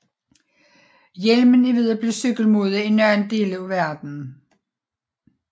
Hjelmen er ved at blive cykelmode i nogle dele af verden